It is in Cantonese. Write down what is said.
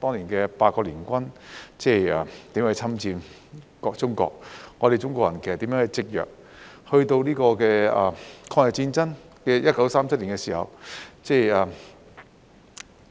當年八國聯軍如何侵佔中國、中國人如何積弱，到1937年抗日戰爭的時候